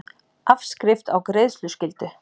Afskrift á greiðsluskyldu.